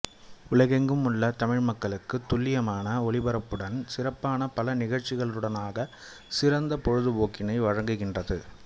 உலகெங்கும் உள்ள தமிழ் மக்களுக்கு துல்லியமான ஒலிபரப்புடன் சிறப்பான பல நிகழ்ச்சிகளினூடாக சிறந்த பொழுதுபோக்கினை வழங்குகின்றது